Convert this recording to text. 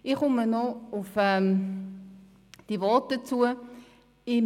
Ich komme noch auf die einzelnen Voten zu sprechen: